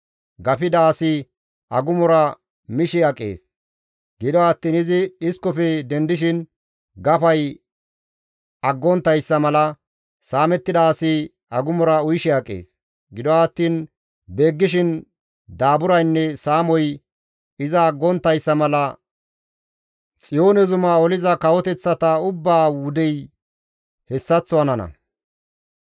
Gafida asi agumora mishe aqees; gido attiin izi dhiskofe dendishin gafay aggonttayssa mala, saamettida asi agumora uyishe aqees; gido attiin beeggishin daaburaynne saamoy iza aggonttayssa mala Xiyoone zuma oliza kawoteththata ubbaa wudey hessaththo hanana.